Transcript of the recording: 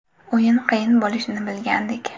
O‘yin qiyin bo‘lishini bilgandik.